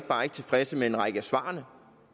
bare ikke tilfredse med en række af svarene